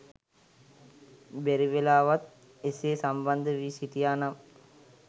බැරිවෙලාවත් එසේ සම්බන්ධ වී සිටියා නම්